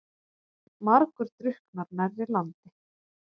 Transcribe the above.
Margur drukknar nærri landi.